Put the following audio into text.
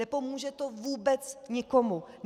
Nepomůže to vůbec nikomu.